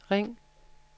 ring